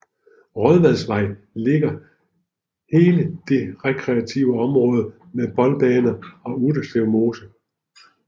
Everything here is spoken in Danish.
Rådvadsvej ligger hele det rekreative område med boldbaner og Utterslev Mose